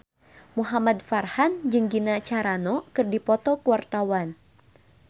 Muhamad Farhan jeung Gina Carano keur dipoto ku wartawan